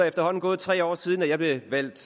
efterhånden gået tre år siden jeg blev valgt